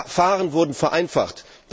Die Verfahren wurden vereinfacht.